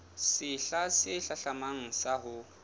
sehla se hlahlamang sa ho